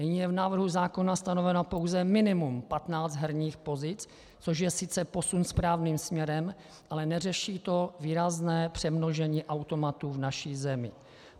Nyní je v návrhu zákona stanoveno pouze minimum 15 herních pozic, což je sice posun správným směrem, ale neřeší to výrazné přemnožení automatů v naší zemi.